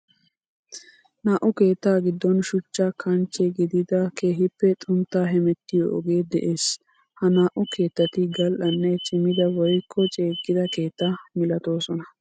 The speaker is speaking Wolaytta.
Naa'u keetta giddon shuchcha kanchche gididda keehippe xuntta hemettiyo ogee de'ees. Ha naa'u keettati gal'anne cimidda woykko ceegidda keetta malatosonna.